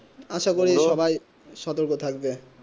আসা করি সবাই সতর্ক থাকবে